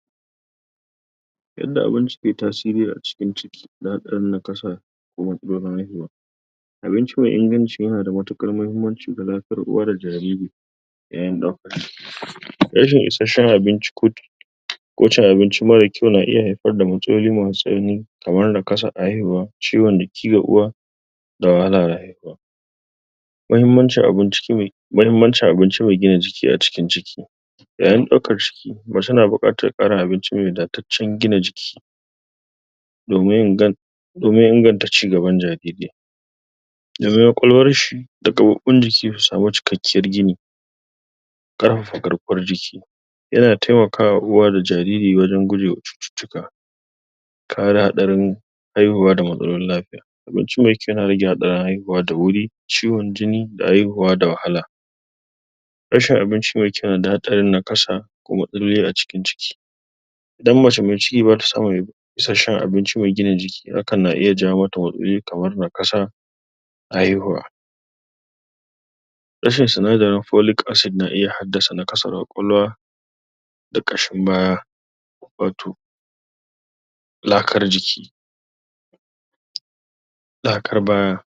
? Yadda abinci ke tasiri a cikin ciki na dan nakasa ko matsolin haihuwa.? Abincin mai inganci ya na da matuƙar mahimmanci ga lafiyar uwa da jariri, yayin ɗaukar ciki. Rashin isashshen abinci,? ko cin abinci mara kyau na iya haifar da matsaloli masu tsanani. Kamar nakasan haihuwa, ciwon jiki ga uwa,? da wahalar rayuwa.? Mahimmancin abinci mai mahimmancin abinci mai gina jiki a cikin ciki.? Yayin ɗaukan ciki macce na buƙatan ƙarin abinci mai wadataccen gida jiki.? Domin ingan? domin inganta cigaban jariri? Daga kwakwalwarshi, da gaɓoɓin jiki su samu cikakkiyar gini.? Ƙarfafa garkuwar jiki.? Yana taimakawa uwa da jariri wajan gojewa cututtuka.? Kare haɗarin haihuwa da matsalolin lafiya. Abinci mai kyau yana rage hatsarin haihuwa da wuri, ciwon jini da haihuwa da wahala.? Rashin abinci mai kyau yanada hatsarin nakasa, da kuma matsaloli a cikin ciki.? Idan macce mai ciki bata samun? isashshen abinci mai gina jiki, hakan na iya jawo mata matsaloli kamar nakasa,? haihuwa.? Rashin sinadarin folic acid na iya haifar da matsalar kwakwalwa,? da ƙashin baya,? wato? lakar jiki,? lakar baya.?